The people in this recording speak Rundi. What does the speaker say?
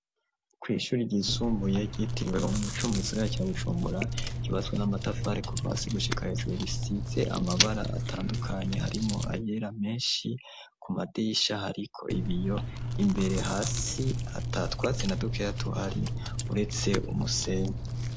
Kw'ishuri ryisumbuye ryitirwe umucumu gisigara ca bucumura gibazwa n'amatafare kuvasi gushika hejuru risize amabara atandukanyi harimo ayera menshi ku made yishahe, ariko ibiyo imbere hasi atatwatse na dukera tuhari uretse umusenye.